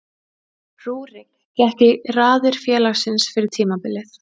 Rúrik gekk í raðir félagsins fyrir tímabilið.